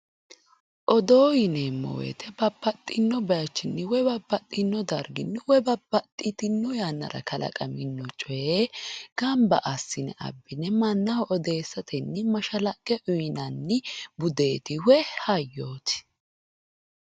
odoo yineemmo woyte woy babbaxino baycho woy babbaxino dargi woy babbaxitino yannara kalaqamino coye gamba assine abbine mannaho odeessatenni mashshalaqe uyinanni hayyooti woy budeeti